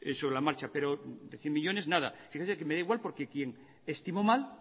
sobre la marcha pero de cien millónes nada fíjese que me da igual porque quien estimó mal